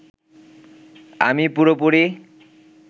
আমি পুরোপুরি